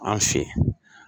An fe